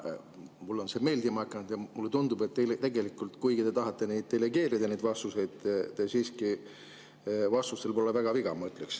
Mulle on see meeldima hakanud ja mulle tundub, et tegelikult, kuigi te tahate vastuseid delegeerida, pole teie vastustel siiski väga viga.